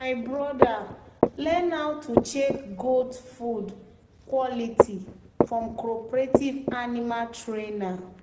"my brother learn how to check goat food quality from cooperative animal trainer."